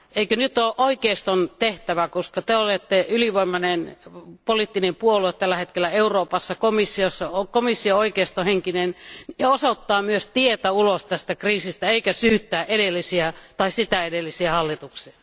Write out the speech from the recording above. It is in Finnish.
Eikö nyt ole oikeiston tehtävä, koska te olette ylivoimainen poliittinen puolue tällä hetkellä Euroopassa ja koska komissio on oikeistohenkinen, osoittaa myös tietä ulos tästä kriisistä, eikä syyttää edellisiä tai sitä edellisiä hallituksia?